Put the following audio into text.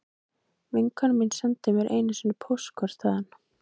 Vinkona mín sendi mér einu sinni póstkort þaðan